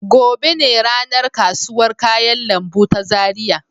Gobe ne ranar kasuwar kayan lambu ta Zaria.